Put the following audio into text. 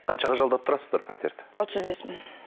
қаншаға жалдап тұрасыздар пәтерді отыз бес мың